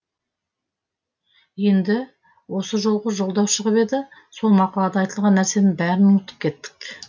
енді осы жолғы жолдау шығып еді сол мақалада айтылған нәрсенің бәрін ұмытып кеттік